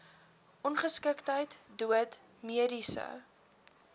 ongeskiktheid dood mediese